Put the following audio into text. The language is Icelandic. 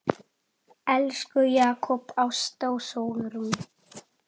Elsku Jakob, Ásta og Sólrún.